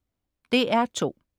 DR2: